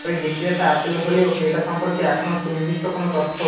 তবে বিক্রেতা অ্যাপল হলেও ক্রেতা সম্পর্কে এখনও সুনির্দিষ্ট কোনো তথ্য